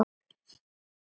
Hann er að skemma.